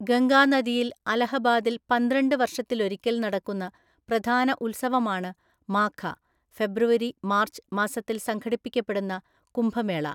ഗംഗാനദിയിൽ അലഹബാദിൽ പന്ത്രണ്ട് വർഷത്തിലൊരിക്കൽ നടക്കുന്ന പ്രധാന ഉത്സവമാണ് മാഘ (ഫെബ്രുവരി മാർച്ച്) മാസത്തിൽ സംഘടിപ്പിക്കപ്പെടുന്ന കുംഭമേള.